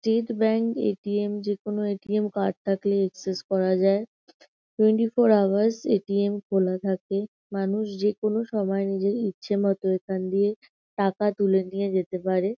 State bank ATM. যে কোন ATM. Card থাকলে অ্যাক্সেস করা যায়। Twenty four hours ATM. খোলা থাকে। মানুষ যেকোনো সময় নিজের ইচ্ছেমত এখান দিয়ে টাকা তুলে নিয়ে যেতে পারে।